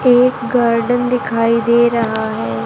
यह एक गर्डन दिखाई दे रहा है।